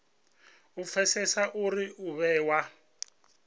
u pfesesa uri u vhewa